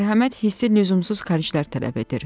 Mərhəmət hissi lüzumsuz xərclər tələb edir.